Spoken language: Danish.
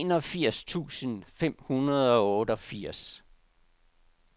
enogfirs tusind fem hundrede og otteogfirs